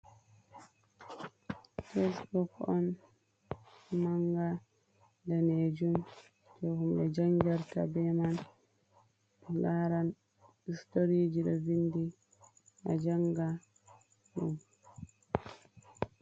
Teksbuk on, manga, danejum, jei humɓe jangirta be man, laran storiji, ɗo vindi, a janga ɗum.